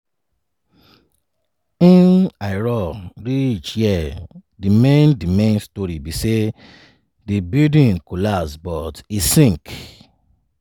im i run reach here di main di main story be say di building no collapse but e sink.